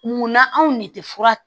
Munna anw de tɛ fura